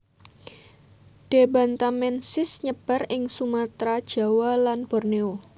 D bantamensis nyebar ing Sumatra Jawa lan Borneo